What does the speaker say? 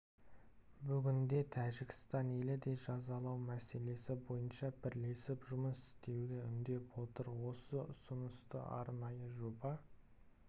бүгінде тәжікстан елі де жазалау мәселесі бойынша бірлесіп жұмыс істеуге үндеп отыр осы ұсынысты арнайы жоба